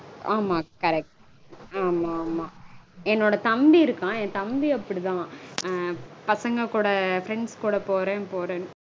ஆமா correct ஆமா ஆமா. என்னோட தம்பி இருக்கான். என் தம்பி அப்படிதா. பசங்க கூ friends கூட போறேன் போறேன்